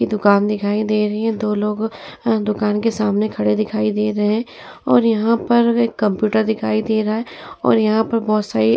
दुकान दिखाई दे रही है। दो लोग दुकान के सामने खड़े दिखाई दे रहे हैं और यहाँ पर एक कंप्यूटर दिखाई दे रहा है और यहाँ पर बहोत सारे --